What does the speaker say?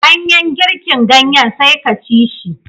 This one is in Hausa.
Banyan girkin ganyen sai ka ci shi